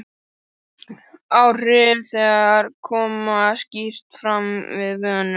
Áhrif þeirra koma skýrt fram við vönun.